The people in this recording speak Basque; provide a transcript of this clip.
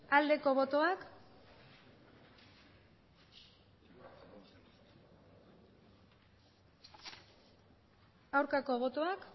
aldeko botoak aurkako botoak